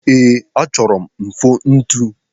Ee, achọrọ m mfontu?